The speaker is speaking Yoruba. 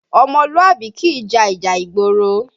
Ọmọlúàbí kìí ja ìjà ìgboro